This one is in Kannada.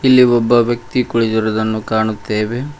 ಇಲ್ಲಿ ಒಬ್ಬ ವ್ಯಕ್ತಿ ಕುಳಿತಿರುವುದ್ದನ್ನು ಕಾಣುತ್ತೆವೆ.